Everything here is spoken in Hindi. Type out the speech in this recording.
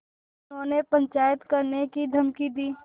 उन्होंने पंचायत करने की धमकी दी